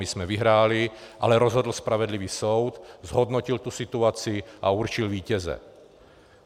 My jsme vyhráli, ale rozhodl spravedlivý soud, zhodnotil tu situaci a určil vítěze.